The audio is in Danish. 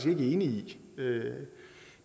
i